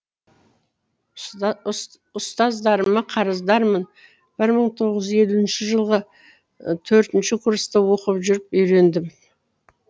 ұстаздарыма қарыздармын бір мың тоғызжүз елуінші жылы төртінші курста оқып жүріп үйрендім